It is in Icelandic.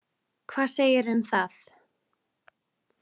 Hvað segirðu um það?